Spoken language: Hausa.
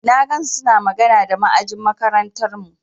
Na ga suna magana da ma'ajin makarantarmu.